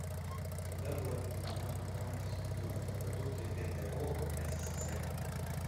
когда была введена программа физкультурной подготовки гто в ссср